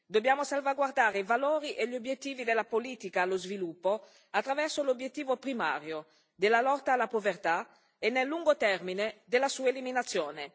Dobbiamo salvaguardare i valori e gli obiettivi della politica per lo sviluppo attraverso l'obiettivo primario della lotta alla povertà e, nel lungo termine, della sua eliminazione.